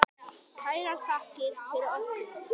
Kærar þakkir fyrir okkur.